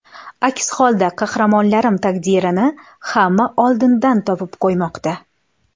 Aks holda qahramonlarim taqdirini hamma oldindan topib qo‘ymoqda.